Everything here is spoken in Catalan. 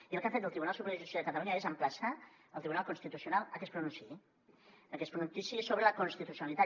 i el que ha fet el tribunal superior de justícia de catalunya és emplaçar el tribunal constitucional a que es pronunciï a que es pronunciï a sobre la constitucionalitat